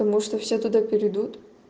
потому что все туда перейдут